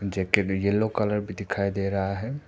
Jacket yellow colour भी दिखाई दे रहा है।